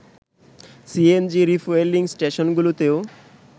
CNG refuelling স্টেশনগুলোতেও